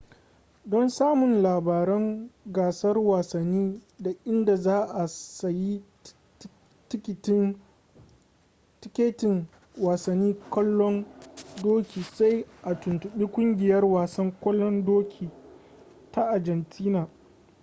don samun labaran gasar wasanni da inda za a sayi tikitin wasanni kwallon doki sai a tuntubi kungiyar wasan kwallon doki ta argentina